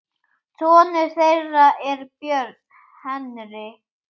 Sonur þeirra er Björn Henry.